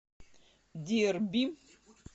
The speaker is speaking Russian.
дерби